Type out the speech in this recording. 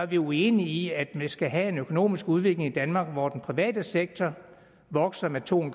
vi uenige i at man skal have en økonomisk udvikling i danmark hvor den private sektor vokser med to